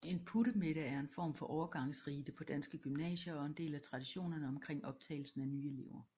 En puttemiddag er en form for overgangsrite på danske gymnasier og en del af traditionerne omkring optagelsen af nye elever